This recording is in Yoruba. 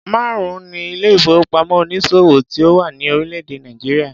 Márùn-ún ni ilé ìfowópamọ́ onísòwò tí ó wà ní orílẹ̀-èdè Nàìjíríà.